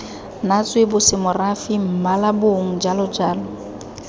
natswe bosemorafe mmala bong jalojalo